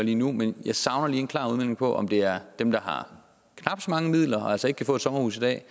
lige nu men jeg savner en klar udmelding på om det er dem der har knap så mange midler og altså ikke kan få et sommerhus i dag